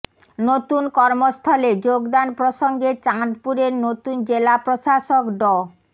নতুন কর্মস্থলে যোগদান প্রসঙ্গে চাঁদপুরের নতুন জেলা প্রশাসক ড